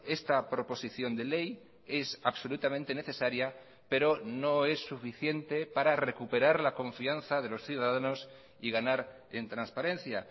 esta proposición de ley es absolutamente necesaria pero no es suficiente para recuperar la confianza de los ciudadanos y ganar en transparencia